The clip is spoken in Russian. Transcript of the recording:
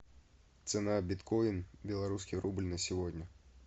цена биткоин белорусский рубль на сегодня